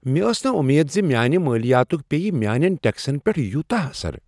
مےٚ ٲس نہٕ وۄمید زِ میانِہ مالیاتُک پییِہ میانٮ۪ن ٹیکسن پٮ۪ٹھ یوتاہ اثر ۔